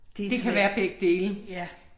Det er svært. Ja